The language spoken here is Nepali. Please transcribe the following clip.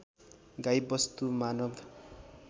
गाई वस्तु मानव